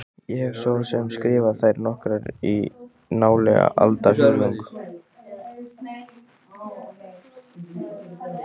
Ég hef svo sem skrifað þær nokkrar í nálega aldarfjórðung.